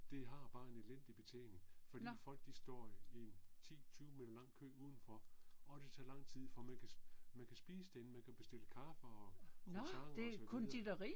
Det har bare en elendig betjening fordi folk de står i 10 20 meter lang kø udenfor og det tager lang tid for man kan spise derinde man kan bestille kaffe og croissanter og så videre